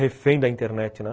refém da internet, né?